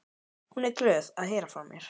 Hún er glöð að heyra frá mér.